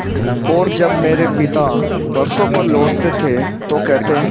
और जब मेरे पिता बरसों पर लौटते तो कहते